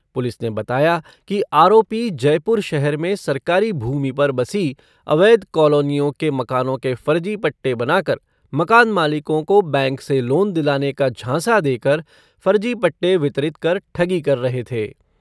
Police ने बताया कि आरोपी जयपुर शहर में सरकारी भूमि पर बसी अवैध कॉलोनीयों के मकानों के फर्जी पट्टे बनाकर मकान मालिकों को बैंक से लोन दिलाने का झांसा देकर फर्जी पट्टे वितरित कर ठगी कर रहे थे।